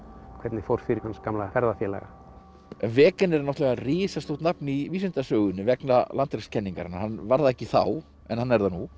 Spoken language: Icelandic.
hvernig fór fyrir hans gamla ferðafélaga wegener er náttúrulega risastórt nafn í vísindasögunni vegna landrekskenningarinnar hann var það ekki þá en hann er það nú